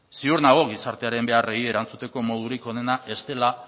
ziur nago gizartearen beharrei erantzuteko modurik onena ez dela